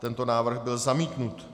Tento návrh byl zamítnut.